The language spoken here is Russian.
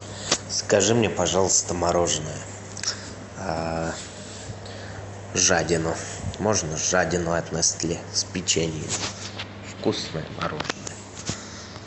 закажи мне пожалуйста мороженое жадину можно жадину от нестле с печеньем вкусное мороженое